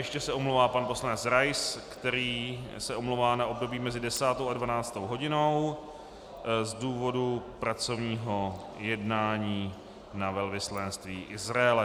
Ještě se omlouvá pan poslanec Rais, který se omlouvá na období mezi 10. a 12. hodinou z důvodu pracovního jednání na velvyslanectví Izraele.